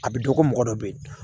A bɛ dɔn ko mɔgɔ dɔ bɛ yen